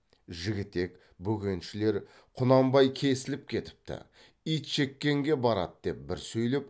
жігітек бөкеншілер құнанбай кесіліп кетіпті итжеккенге барады деп бір сөйлеп